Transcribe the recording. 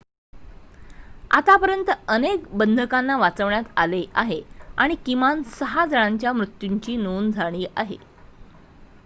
आतापर्यंत अनेक बंधकांना वाचवण्यात आले आहे आणि किमान 6 जणांच्या मृत्यूची नोंद झाली आहे